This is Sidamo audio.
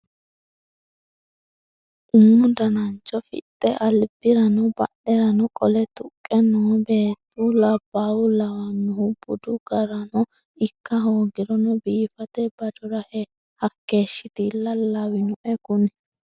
Umu danancho fixxe albirano badherano qole tuqqe no beettu labbaha lawanohu budu garano ikka hoogirono biifate badora hakeeshshatilla lawinoe kuni.